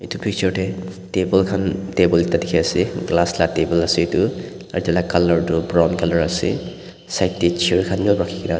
etu picture te table khan table ekta dekhi ase glass laga table ase etu colour tu brown ase side te chair khan bhi rakhi kena.